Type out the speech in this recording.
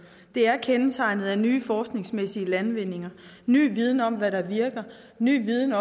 det er kendetegnet af nye forskningsmæssige landvindinger ny viden om hvad der virker og ny viden